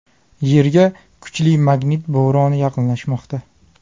Yerga kuchli magnit bo‘roni yaqinlashmoqda.